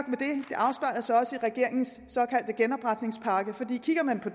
og sig også i regeringens såkaldte genopretningspakke kigger man på